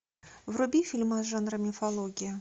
вруби фильмас жанра мифология